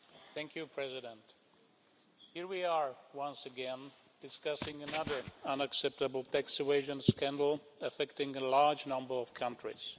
Madam President, here we are once again discussing another unacceptable tax evasion scandal affecting a large number of countries.